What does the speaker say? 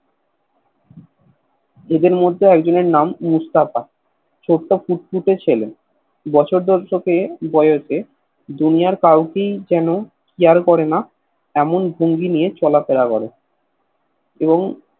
এদের মধ্যে একজনের নাম মুস্তাফা ছোট্ট ফুটফুটে ছেলে বছর দশকের বয়সে দুনিয়ের কাউকেই যেন Care করে না এমন ভঙ্গি নিয়ে চলা ফেরা করে এবং